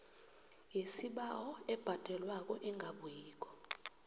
yesibawo ebhadelwako engabuyiko